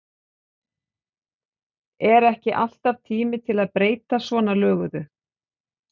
Er ekki alltaf tími til að breyta svona löguðu?